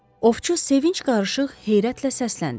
Ovçu sevinc qarışıq heyrətlə səsləndi.